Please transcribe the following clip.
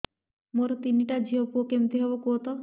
ମୋର ତିନିଟା ଝିଅ ପୁଅ କେମିତି ହବ କୁହତ